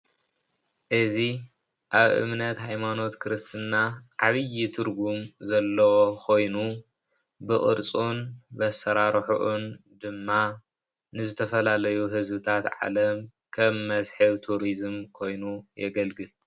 እዚ አብ እምነት ሀይማኖት ክርስትና ዓብዪ ትርጉም ዘለዎ ኾይኑ ብቅርፁን አሰራርሕኡን ድማ ንዝተፈላለዪ ህዝብታት ዓለም ከም መስሕብ ቱሪዝም ኾይኑ የግልግል ።